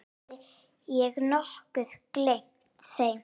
Hafði ég nokkuð gleymt þeim?